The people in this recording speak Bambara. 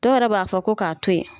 Dɔw b'a fɔ ko k'a to ye.